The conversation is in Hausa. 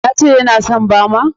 Ya ce ya na son bama?